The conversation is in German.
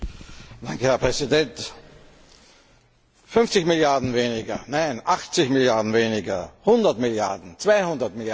Herr Präsident! 50 Milliarden weniger, nein, 80 Milliarden weniger, 100 Milliarden, 200 Milliarden.